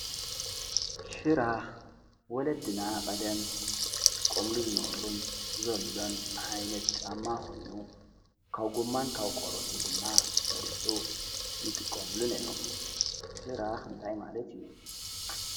ሽራኽ ወለድና ቐደም ጥቆምሉ ዝነበርን ዘልዶን ዓይነት ጫማ ኾኑ ካብ ጐማን ካብ ቆሮትን ድማ ተሰሪሑ ይጥቆምሉ ነይሮም ሽራኽ እንታይ ማለት እዩ።